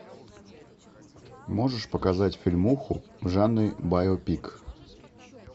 можешь показать фильмуху в жанре байопик